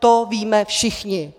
To víme všichni.